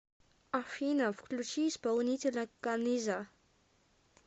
афина включи исполнителя каниза